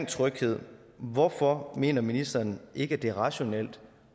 tryghed hvorfor mener ministeren ikke at det er rationelt